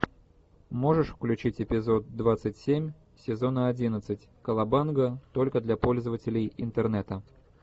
можешь включить эпизод двадцать семь сезона одиннадцать кавабанга только для пользователей интернета